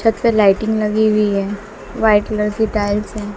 छत पे लाइटिंग लगी हुई है वाइट कलर की टाइल्स है।